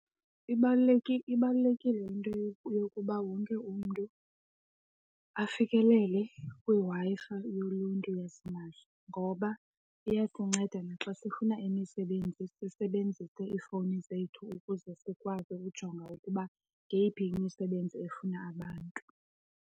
Ibalulekile into yokuba wonke umntu afikelele kwiWi-Fi yoluntu yasimahla ngoba iyasinceda naxa sifuna imisebenzi, sisebenzise iifowuni zethu ukuze sikwazi ukujonga ukuba ngeyiphi imisebenzi efuna abantu.